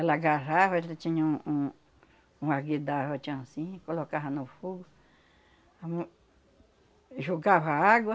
Ela agarrava, ela tinha um uma tinha assim, colocava no fogo, am, jogava água,